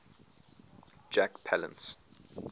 jack palance